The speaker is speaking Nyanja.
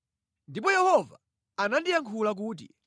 Ndipo Yehova anandiyankhula kuti: